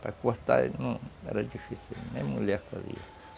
Para cortar não era difícil, nem mulher fazia.